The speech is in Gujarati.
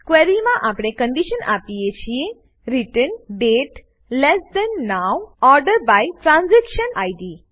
ક્વેરીમાં આપણે કંડીશન આપીએ છીએ return date less than now order by transaction Id